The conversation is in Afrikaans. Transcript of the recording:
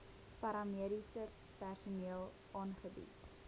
paramediese personeel aangebied